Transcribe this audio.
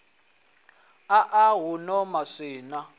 a a ḓaḓa huno maswina